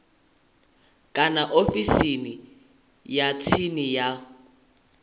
kana ofisini ya tsini ya